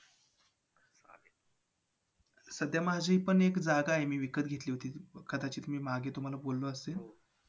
की मी हल्ली आम्ही जाणार होतो औरंगाबादला ज्योतिर्लिंग करण्यासाठी